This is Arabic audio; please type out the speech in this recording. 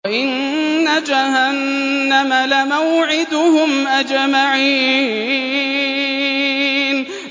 وَإِنَّ جَهَنَّمَ لَمَوْعِدُهُمْ أَجْمَعِينَ